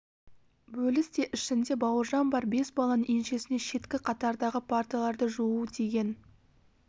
бөлісте ішінде бауыржан бар бес баланың еншісіне шеткі қатардағы парталарды жуу тиген